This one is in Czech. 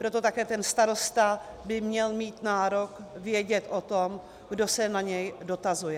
Proto také ten starosta by měl mít nárok vědět o tom, kdo se na něj dotazuje.